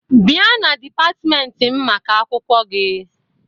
Bịa na dịpatịmentị m maka akwụkwọ gị!